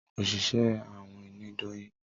Oṣiṣẹ awin ní Doyin